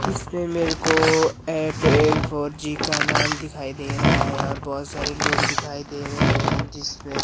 इसमें मेरे को एयरटेल फोर जी का नाम दिखाई दे रहा है और बहोत सारे लोग दिखाई दे रहे हैं जिसमे--